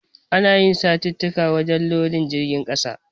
Ana yi satittika wajen lodin jirgin ƙasa.